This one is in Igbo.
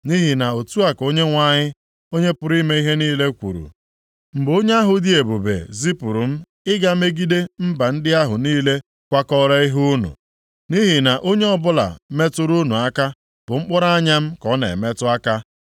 Nʼihi na otu a ka Onyenwe anyị, Onye pụrụ ime ihe niile kwuru, “Mgbe Onye ahụ dị ebube zipụrụ m ịga megide mba ndị ahụ niile kwakọọrọ ihe unu. Nʼihi na onye ọbụla metụrụ unu aka bụ mkpụrụ anya m ka ọ na-emetụ aka.